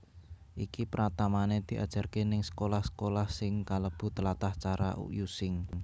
Iki pratamane diajarke ning sekolah sekolah sing kalebu tlatah cara Using